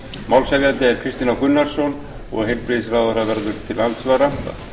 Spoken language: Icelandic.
málshefjandi er háttvirtur þingmaður kristinn h gunnarsson en heilbrigðisráðherra verður til andsvara